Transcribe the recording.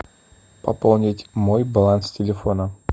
пополнить мой баланс телефона